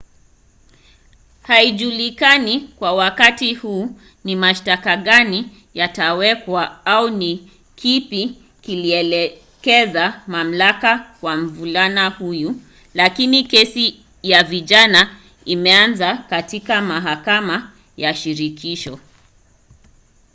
haijulikani kwa wakati huu ni mashtaka gani yatawekwa au ni kipi kilielekeza mamlaka kwa mvulana huyo lakini kesi ya vijana imeanza katika mahakama ya shirikisho